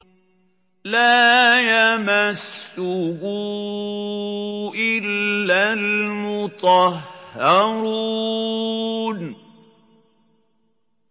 لَّا يَمَسُّهُ إِلَّا الْمُطَهَّرُونَ